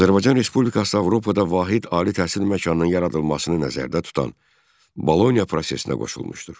Azərbaycan Respublikası Avropada vahid ali təhsil məkanının yaradılmasını nəzərdə tutan Boloniya prosesinə qoşulmuşdur.